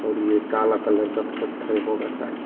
ये काला कलर का पत्थर होगा शायद।